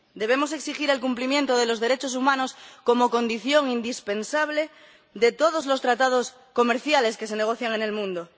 Debemos exigir el cumplimiento de los derechos humanos como condición indispensable de todos los tratados comerciales que se negocian en el mundo.